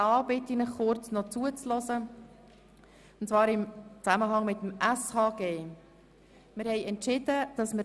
Wir haben noch einen zweiten Entscheid gefällt, und ich bitte Sie, noch kurz zuzuhören.